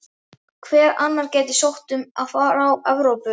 Hver annar gæti sótt um frá Evrópu?